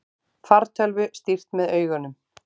Fartölvu stýrt með augunum